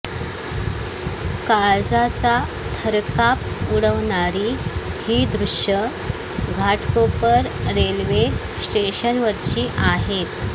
काळजाचा थरकाप उडवणारी ही दृश्यं घाटकोपर रेल्वे स्टेशनवरची आहेत